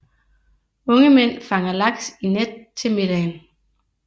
Unge mænd fanger laks i net til middagen